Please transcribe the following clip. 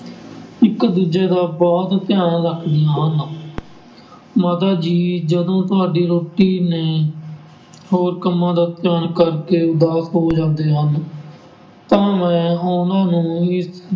ਇੱਕ ਦੂਜੇ ਦਾ ਬਹੁਤ ਧਿਆਨ ਰੱਖਦੀਆਂ ਹਨ ਮਾਤਾ ਜੀ ਜਦੋਂ ਤੁਹਾਡੀ ਰੋਟੀ ਨੇ ਹੋਰ ਕੰਮਾਂ ਦਾ ਧਿਆਨ ਕਰਕੇ ਉਦਾਸ ਹੋ ਜਾਂਦੇ ਹਨ, ਤਾਂ ਮੈਂ ਉਹਨਾਂ ਨੂੰ ਇਸ